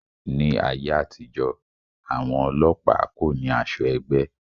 Ní ayé àtijó, àwọn ọlọ́pàá kò ní asọ ẹgbẹ́